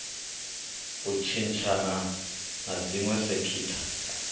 u tshintshana na dziwe sekitha